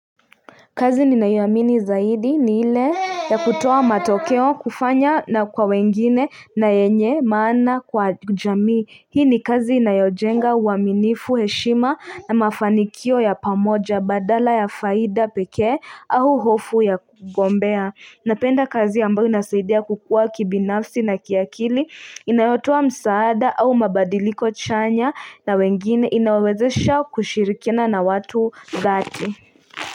Kazi ninayoiamini zaidi ni ile ya kutoa matokeo kufanya na kwa wengine na yenye maana kwa jamii. Hii ni kazi inayojenga uaminifu heshima na mafanikio ya pamoja badala ya faida pekee au hofu ya kugombea. Napenda kazi ambayo inasaidia kukua kibinafsi na kiakili inayotoa msaada au mabadiliko chanya na wengine inawezesha kushirikina na watu dhati.